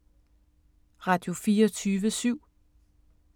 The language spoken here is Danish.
Radio24syv